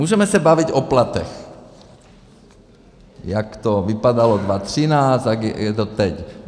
Můžeme se bavit o platech, jak to vypadalo 2013 a jak je to teď.